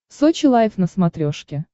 сочи лайф на смотрешке